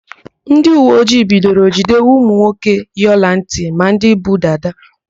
Ndịuweojii bidoro ijide ụmụnwoke yi ọlantị ma ndị bu dada.